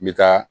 N bɛ taa